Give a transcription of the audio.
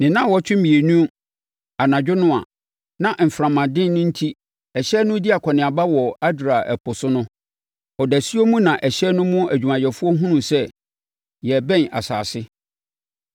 Ne nnawɔtwe mmienu anadwo no a na mframaden no enti ɛhyɛn no redi akɔneaba wɔ Adria ɛpo so no, ɔdasuo mu na ɛhyɛn no mu adwumayɛfoɔ hunuu sɛ yɛrebɛn asase.